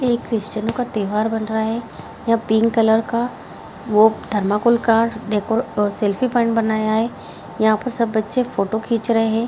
ये एक क्रिस्चनो का त्योहार बन रहा हैं यहाँ पिंक कलर का वो थर्माकोल का डेको सेल्फी पॉइंट बनाया हैं यहाँ पर सब बच्चे फोटो खींच रहे हैं।